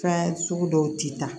Fɛn sugu dɔw ti ta